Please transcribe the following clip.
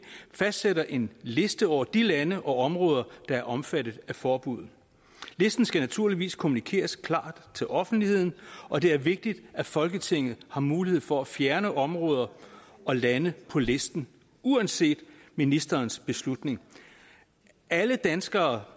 fastsætter en liste over de lande og områder der er omfattet af forbuddet listen skal naturligvis kommunikeres klart til offentligheden og det er vigtigt at folketinget har mulighed for at fjerne områder og lande på listen uanset ministerens beslutning alle danskere